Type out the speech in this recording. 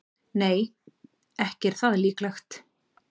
Nei, ekki er það líklegt.